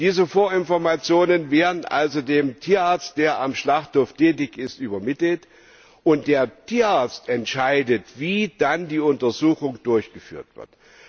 Diese Vorinformationen werden also dem Tierarzt, der am Schlachthof tätig ist, übermittelt, und der Tierarzt entscheidet, wie dann die Untersuchung durchgeführt wird.